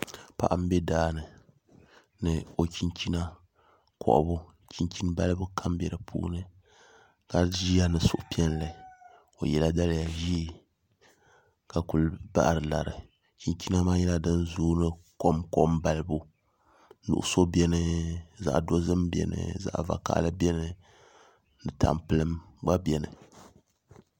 Paɣa n bɛ daani ni o chinchina kohabu balibu chinchin kam bɛ di puuni ka ʒiya ni suhupiɛlli o yɛla daliya ʒiɛ ka ku bahari lari chinchina maa nyɛla din zooi kom kom balibu nuɣso biɛni zaɣ dozim biɛni zaɣ vakaɣali biɛni ni tampilim gba biɛni